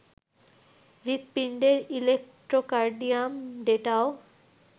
হৃদপিণ্ডের electrocardiogram ডেটাও